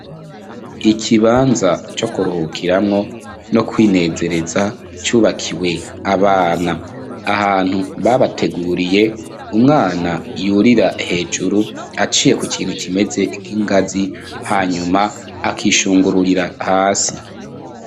Ikibanza co kuruhukiramwo no kwinezereza cubakiwe abana, ahantu babateguriye, umwana yurira hejuru aciye ku kintu kimeze k'ingazi, hanyuma akishungururira hasi.